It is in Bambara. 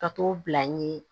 Ka t'o bila n ye